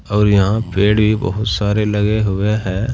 और यहां पेड़ भी बहुत सारे लगे हुए हैं।